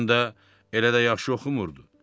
Həm də elə də yaxşı oxumurdu.